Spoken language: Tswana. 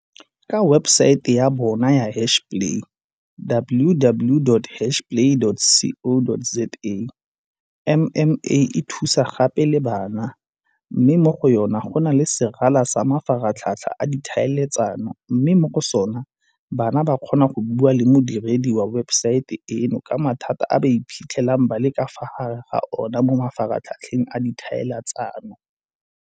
Ka webesaete ya bona ya Hashplay, www.hashplay.co.za, MMA e thusa gape le bana, mme mo go yona go na le serala sa mafaratlhatlha a ditlhaeletsano mme mo go sona bana ba ka kgona go bua le modiredi wa webesaete eno ka mathata a ba iphitlhelang ba le ka fa gare ga ona mo mafaratlhatlheng a ditlhaeletsano.